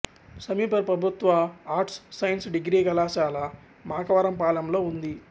సమీప ప్రభుత్వ arts science degree కళాశాల మాకవరపాలెంలో ఉంది